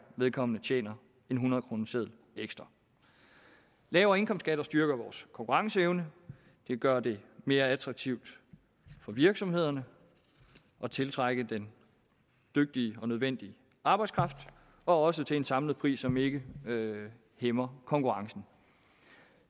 vedkommende tjener en hundredkroneseddel ekstra lavere indkomstskatter styrker vores konkurrenceevne de gør det mere attraktivt for virksomhederne at tiltrække den dygtige og nødvendige arbejdskraft også til en samlet pris som ikke hæmmer konkurrencen